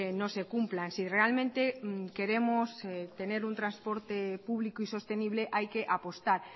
no se cumplan si realmente queremos tener un transporte público y sostenible hay que apostar